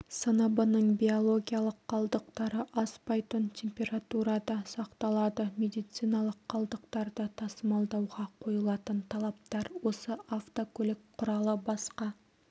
сыныбының биологиялық қалдықтары аспайтын температурада сақталады медициналық қалдықтарды тасымалдауға қойылатын талаптар осы автокөлік құралы басқа